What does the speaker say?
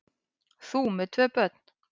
Þú með tvö börn!